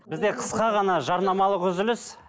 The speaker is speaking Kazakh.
бізде қысқа ғана жарнамалық үзіліс